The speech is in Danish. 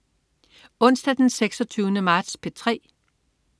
Onsdag den 26. marts - P3: